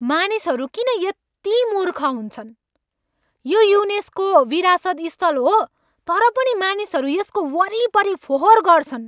मानिसहरू किन यति मूर्ख हुन्छन्? यो युनेस्को विरासत स्थल हो तर पनि मानिसहरू यसको वरिपरि फोहोर गर्छन्।